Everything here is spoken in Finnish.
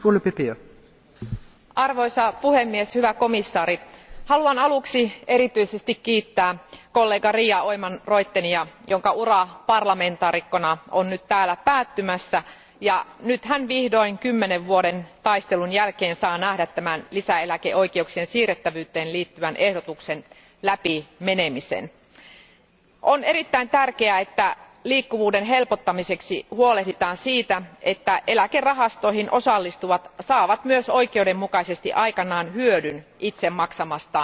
Arvoisa puhemies, hyvä komission jäsen, haluan aluksi erityisesti kiittää kollega Ria Oomen Ruijtenia, jonka ura parlamentin jäsenenä on nyt täällä päättymässä, ja nyt hän vihdoin kymmenen vuoden taistelun jälkeen saa nähdä tämän lisäeläkeoikeuksien siirrettävyyteen liittyvän ehdotuksen läpimenemisen. On erittäin tärkeää, että liikkuvuuden helpottamiseksi huolehditaan siitä, että eläkerahastoihin osallistuvat saavat myös oikeudenmukaisesti aikanaan hyödyn itse maksamastaan eläketurvasta.